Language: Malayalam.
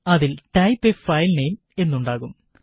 അതില് ടൈപ് എ ഫയല് നെയിം എന്നുണ്ടാകും